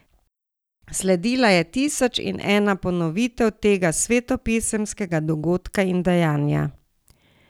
Sledila je tisoč in ena ponovitev tega svetopisemskega dogodka in dejanja.